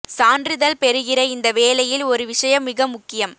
சான்றிதழ் பெறுகிற இந்த வேலையில் ஒரு விஷயம் மிக முக்கியம்